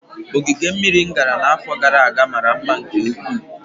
Ogige mmiri m gara n'afọ gara aga mara mma nke ukwuu